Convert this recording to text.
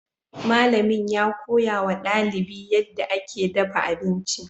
Malamin ya koya wa dalibi yadda ake dafa abinci.